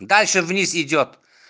дальше вниз идёт